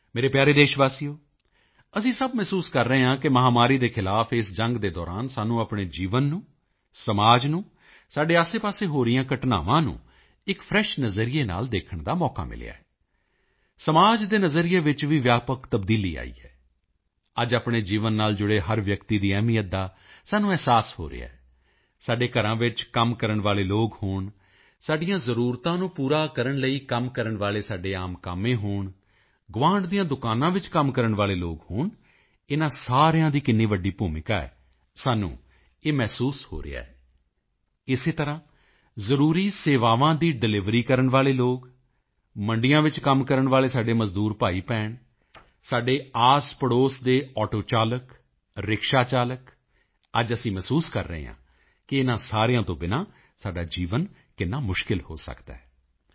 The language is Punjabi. ਮੇਰੇ ਪਿਆਰੇ ਦੇਸ਼ਵਾਸੀਓ ਅਸੀਂ ਸਭ ਅਨੁਭਵ ਕਰ ਰਹੇ ਹਾਂ ਕਿ ਮਹਾਮਾਰੀ ਦੇ ਖ਼ਿਲਾਫ਼ ਇਸ ਲੜਾਈ ਦੇ ਦੌਰਾਨ ਸਾਨੂੰ ਆਪਣੇ ਜੀਵਨ ਨੂੰ ਸਮਾਜ ਨੂੰ ਸਾਡੇ ਆਸੇਪਾਸੇ ਹੋ ਰਹੀਆਂ ਘਟਨਾਵਾਂ ਨੂੰ ਇੱਕFresh ਨਜ਼ਰੀਏ ਨਾਲ ਦੇਖਣ ਦਾ ਮੌਕਾ ਮਿਲਿਆ ਹੈ ਸਮਾਜ ਦੇ ਨਜ਼ਰੀਏ ਵਿੱਚ ਵੀ ਵਿਆਪਕ ਤਬਦੀਲੀ ਆਈ ਹੈ ਅੱਜ ਆਪਣੇ ਜੀਵਨ ਨਾਲ ਜੁੜੇ ਹਰ ਵਿਅਕਤੀ ਦੀ ਅਹਿਮੀਅਤ ਦਾ ਸਾਨੂੰ ਅਹਿਸਾਸ ਹੋ ਰਿਹਾ ਹੈ ਸਾਡੇ ਘਰਾਂ ਵਿੱਚ ਕੰਮ ਕਰਨ ਵਾਲੇ ਲੋਕ ਹੋਣ ਸਾਡੀਆਂ ਜ਼ਰੂਰਤਾਂ ਨੂੰ ਪੂਰਾ ਕਰਨ ਲਈ ਕੰਮ ਕਰਨ ਵਾਲੇ ਸਾਡੇ ਆਮ ਕਾਮੇ ਹੋਣ ਗੁਆਂਢ ਦੀਆਂ ਦੁਕਾਨਾਂ ਵਿੱਚ ਕੰਮ ਕਰਨ ਵਾਲੇ ਲੋਕ ਹੋਣ ਇਨ੍ਹਾਂ ਸਾਰਿਆਂ ਦੀ ਕਿੰਨੀ ਵੱਡੀ ਭੂਮਿਕਾ ਹੈ ਸਾਨੂੰ ਇਹ ਮਹਿਸੂਸ ਹੋ ਰਿਹਾ ਹੈਇਸੇ ਤਰ੍ਹਾਂ ਜ਼ਰੂਰੀ ਸੇਵਾਵਾਂ ਦੀ ਡਿਲਿਵਰੀ ਕਰਨ ਵਾਲੇ ਲੋਕ ਮੰਡੀਆਂ ਵਿੱਚ ਕੰਮ ਕਰਨ ਵਾਲੇ ਸਾਡੇ ਮਜ਼ਦੂਰ ਭਾਈਭੈਣ ਸਾਡੇ ਆਸਪੜੋਸ ਦੇ ਆਟੋ ਚਾਲਕ ਰਿਕਸ਼ਾ ਚਾਲਕ ਅੱਜ ਅਸੀਂ ਮਹਿਸੂਸ ਕਰ ਰਹੇ ਹਾਂ ਕਿ ਇਨ੍ਹਾਂ ਸਾਰਿਆਂ ਤੋਂ ਬਿਨਾਂ ਸਾਡਾ ਜੀਵਨ ਕਿੰਨਾ ਮੁਸ਼ਕਿਲ ਹੋ ਸਕਦਾ ਹੈ